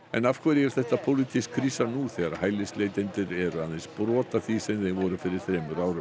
en af hverju er þetta pólitísk krísa nú þegar hælisleitendur eru aðeins brot af því sem þeir voru fyrir þremur árum